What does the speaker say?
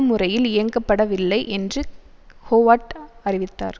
முறையில் இயங்கப்படவில்லை என்று ஹோவர்ட் அறிவித்தார்